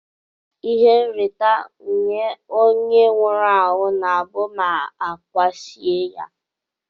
Ihe nrita nye onye nwụrụ anwu na abu ma akwasie ya.